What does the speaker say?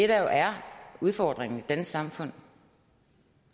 der jo er udfordringen i det danske samfund